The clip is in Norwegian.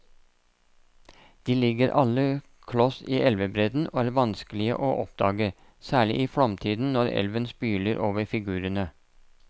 De ligger alle kloss i elvebredden og er vanskelige å oppdage, særlig i flomtiden når elven spyler over figurene.